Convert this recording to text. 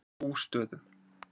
Bústöðum